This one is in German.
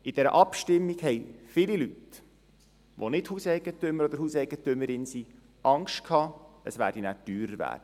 Bei der Abstimmung befürchteten viele Leute, die nicht Hauseigentümer oder Hauseigentümerin sind, es würde danach teurer werden.